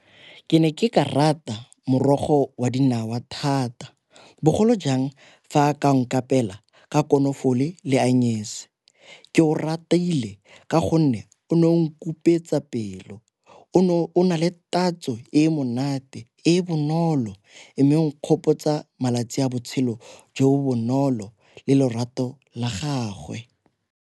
Ke ne ke ka rata morogo wa dinawa thata bogolo jang fa a ka nkapeela ka konofole le ke o ratile ka gonne o ne o nkupetsa pelo o nale tatso e monate e bonolo e, mme nkgopotsa malatsi a botshelo jo bonolo le lorato la gagwe.